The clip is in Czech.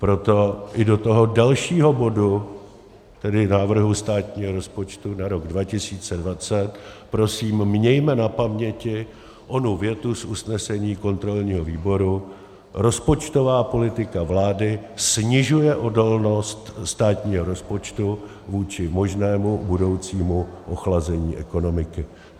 Proto i do toho dalšího bodu, tedy návrhu státního rozpočtu na rok 2020, prosím mějme na paměti onu větu z usnesení kontrolního výboru: "Rozpočtová politika vlády snižuje odolnost státního rozpočtu vůči možnému budoucímu ochlazení ekonomiky."